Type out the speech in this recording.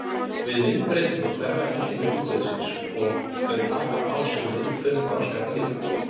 Við myndbreytingu hverfa einkenni ungviðisins og þau taka á sig mynd fullþroska dýra.